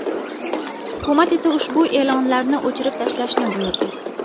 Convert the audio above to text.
Hukumat esa ushbu e’lonlarni o‘chirib tashlashni buyurdi.